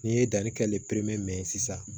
N'i ye danni kɛ mɛn ye sisan